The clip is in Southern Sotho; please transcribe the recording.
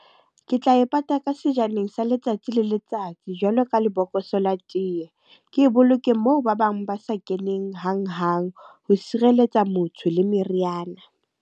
Ke tla e pata ka sejaneng sa letsatsi le letsatsi jwalo ka lebokoso la teye. Ke e boloke moo ba bang ba sa keneng hanghang. Ho sireletsa motho le meriana.